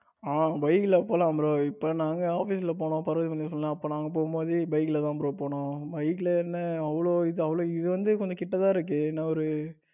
ஆ bike ல போலாம் bro. இப்ப நாங்க office போனோம் பர்வதமலைக்கு அப்ப நாங்க போகும்போது bike லதா bro போனோம் bike என்ன அவ்வளவு இது அவ்வளவு இது வந்து கிட்ட தான் இருக்கு. என்ன ஒரு